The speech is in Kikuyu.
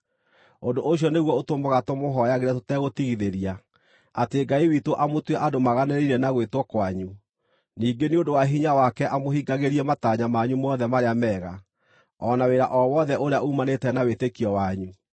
Ũndũ ũcio nĩguo ũtũmaga tũmũhooyagĩre tũtegũtigithĩria, atĩ Ngai witũ amũtue andũ maaganĩrĩire na gwĩtwo kwanyu, ningĩ nĩ ũndũ wa hinya wake amũhingagĩrie matanya manyu mothe marĩa mega, o na wĩra o wothe ũrĩa uumanĩte na wĩtĩkio wanyu.